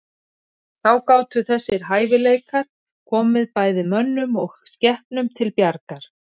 Þá gátu þessir hæfileikar komið bæði mönnum og skepnum til bjargar.